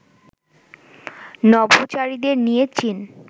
নভোচারীদের নিয়ে চীন